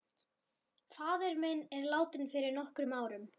Faðir minn er látinn fyrir nokkrum árum.